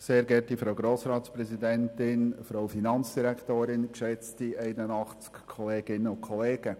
Das Wort hat Grossrat Saxer für die FDP-Fraktion.